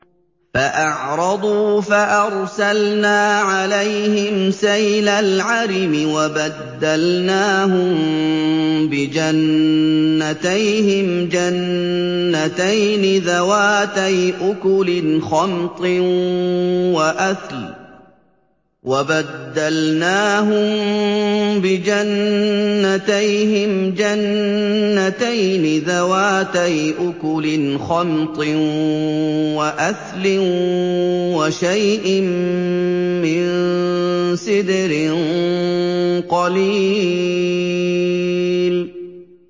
فَأَعْرَضُوا فَأَرْسَلْنَا عَلَيْهِمْ سَيْلَ الْعَرِمِ وَبَدَّلْنَاهُم بِجَنَّتَيْهِمْ جَنَّتَيْنِ ذَوَاتَيْ أُكُلٍ خَمْطٍ وَأَثْلٍ وَشَيْءٍ مِّن سِدْرٍ قَلِيلٍ